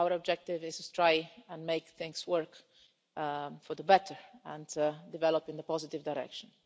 Our objective is to try and make things work for the better and to develop in a positive direction.